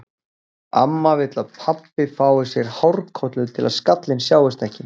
Amma vill að pabbi fái sér hárkollu til að skallinn sjáist ekki.